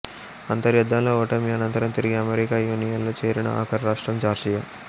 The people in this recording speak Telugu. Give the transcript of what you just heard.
అంతర్యుద్ధంలో ఓటమి అనంతరం తిరిగి అమెరికా యూనియన్ లో చేరిన ఆఖరు రాష్ట్రం జార్జియా